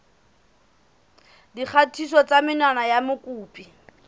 dikgatiso tsa menwana ya mokopi